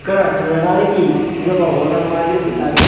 ఇక్కడ చూడడానికి ఇదొక హోటల్ మాదిరి ఉండాది.